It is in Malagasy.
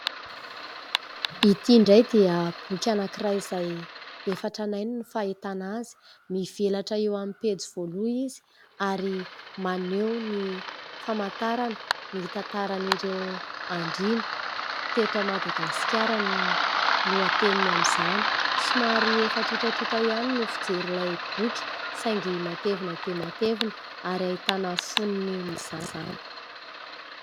Ity indray dia boky anankiray izay efa tranainy no fahitana azy. Mivelatra eo amin'ny pejy voalohany izy ary maneho ny famantarana ny tantaran'ireo andriana teto Madagasikara no lohateniny amin'izany. Somary efa tontatonota ihany no fijery ilay boky saingy matevina dia matevina ary ahitana foniny izany.